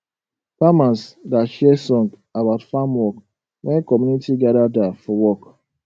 farmers da share song about farm work when community gada da for work